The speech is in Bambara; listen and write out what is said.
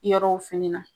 Yɔrɔw fini na